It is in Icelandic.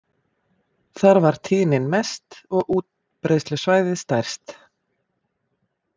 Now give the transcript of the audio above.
Þar var tíðnin mest og útbreiðslusvæðið stærst.